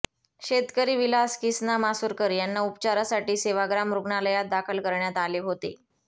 शेतकरी विलास किसना मासुरकर यांना उपचारासाठी सेवाग्राम रुग्णालयात दाखल करण्यात आले होते